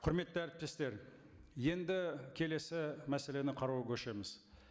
құрметті әріптестер енді келесі мәселені қарауға көшеміз